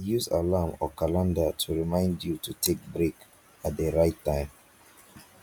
use alarm or calender to remind you to take break at di right time